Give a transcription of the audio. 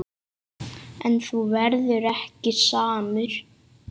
En þú verður ekki samur.